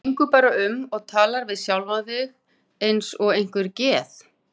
Þú gengur bara um og talar við sjálfa þig eins og einhver geð